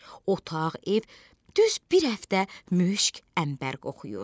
Otaq, ev düz bir həftə müşq, əmbər qoxuyur.